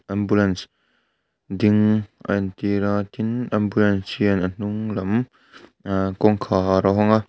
ambulance ding a entir a tin ambulance hian a hnung lam kawngkhar a hawng a.